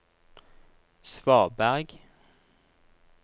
svaberg